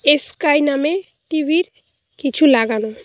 Sky নামে টিভির কিছু লাগানো।